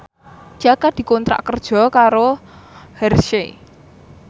Jaka dikontrak kerja karo Hershey